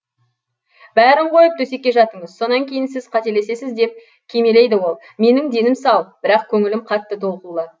бәрін қойып төсекке жатыңыз сонан кейін сіз қателесесіз деп кимелейді ол менің денім сау бірақ көңілім қатты толқулы